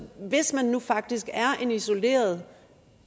hvis man nu faktisk er en isoleret